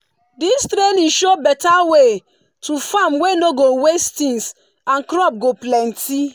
this training show better way to farm wey no go waste things and crop go plenty.